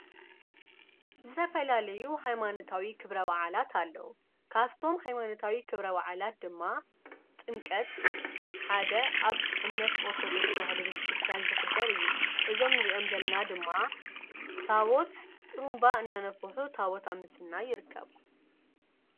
ዝተፈላለዩ ኃይማነታዊ ኽብረብዓላት ኣለዉ ካፍቶም ኃይማነታዊ ክብረዋዓላት ድማ ጥንቀት ሓደ ኣብ እምነት ኦርተዶክስ ቤተ ክርስቲያን ዝኽበር እዩ እዞም ንርኦም ዘለና ድማ ታቦት ጥሩምባ እናነፍሑ ታቦት ኣምስና ይርከቡ።